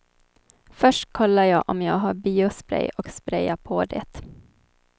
Först kollar jag om jag har biospray och sprayar på det.